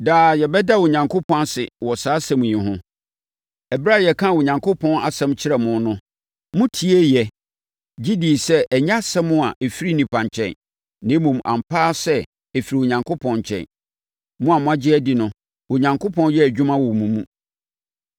Daa yɛbɛda Onyankopɔn ase wɔ saa asɛm yi ho. Ɛberɛ a yɛkaa Onyankopɔn asɛm kyerɛɛ mo no, motieeɛ, gye dii sɛ ɛnyɛ asɛm a ɛfiri onipa nkyɛn, na mmom, ampa ara sɛ, ɛfiri Onyankopɔn nkyɛn. Mo a moagye adi no, Onyankopɔn yɛ adwuma wɔ mo mu.